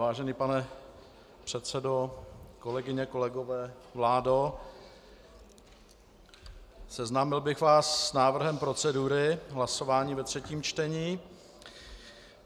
Vážený pane předsedo, kolegyně, kolegové, vládo, seznámil bych vás s návrhem procedury hlasování ve třetím čtení.